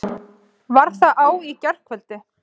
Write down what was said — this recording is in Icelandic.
Var það á í gærkvöldi?